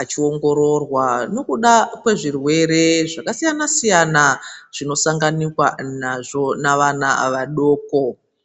achiongororwa nekuda kwezvirwere zvakasiyana+siyana zvinosanganikwa nazvo navana vadoko.